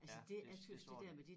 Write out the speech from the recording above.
Ja det det tror jeg